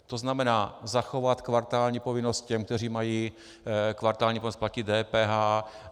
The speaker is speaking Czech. To znamená zachovat kvartální povinnost těm, kteří mají kvartální povinnost platit DPH.